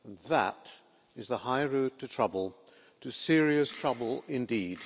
That is the high road to trouble, to serious trouble indeed.